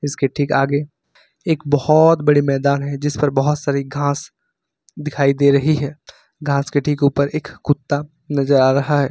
इसके ठीक आगे एक बहुत बड़ी मैदान है जिस पर बहुत सारी घास दिखाई दे रही है घास के ठीक ऊपर एक कुत्ता नजर आ रहा है।